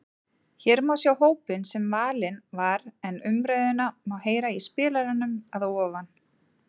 Hér má sjá hópinn sem valinn var en umræðuna má heyra í spilaranum að ofan.